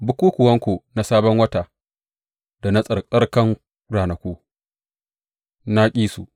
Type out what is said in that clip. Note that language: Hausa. Bukukkuwanku na Sabon Wata da na tsarkakan ranaku na ƙi su.